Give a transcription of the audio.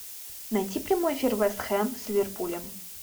найти прямой эфир вест хэм с ливерпулем